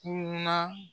Kunun na